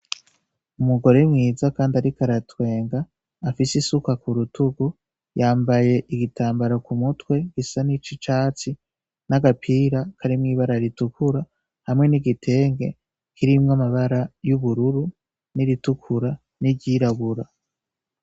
Umugore mwiza, kandi ariko aratwenga afise isuka ku rutugu yambaye igitambara ku mutwe gisa n'ico icatsi n'agapira karimwibara ritukura hamwe n'igitenge kirimwe amabara y'ubururu n'iritukura n'iryirabura.